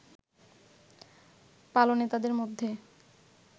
পালনে তাদের মধ্যে